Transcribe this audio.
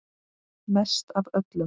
Mest af öllum.